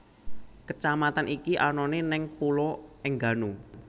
Kecamatan iki anane neng Pulo Enggano